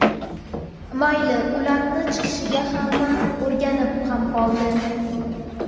Mayli, ularni chiqishiga hamma o‘rganib ham qoldi.